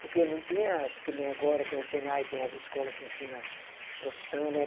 Porque não tinha, que nem agora tem Senai, tem as escola que ensina profissão, né?